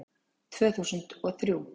Tvö þúsund og þrjú